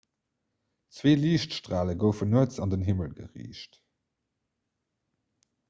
zwee liichtstrale goufen nuets an den himmel geriicht